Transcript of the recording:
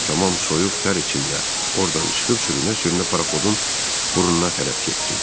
Mən də tamam soyuq tər içində ordan çıxıb sürünə-sürünə paraxodun burnuna tərəf getdim.